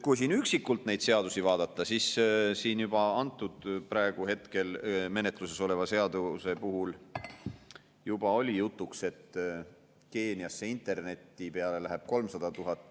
Kui üksikult neid seadusi vaadata, siis praegu menetluses oleva seaduse puhul juba oli jutuks, et Keeniasse interneti peale läheb 300 000.